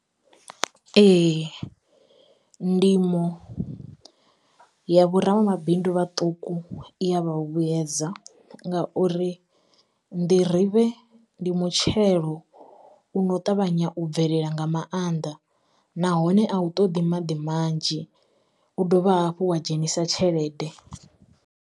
Ee ndimo ya vhoramabindu vhaṱuku i ya vha hu vhuyedza, ngauri nḓirivhe ndi mutshelo uno ṱavhanya u bvelela nga maanḓa. Nahone a u ṱoḓi maḓi manzhi u dovha hafhu wa dzhenisa tshelede.